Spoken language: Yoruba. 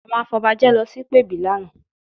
Àwọn afọbajẹ lọ sí ìpèbí lánàá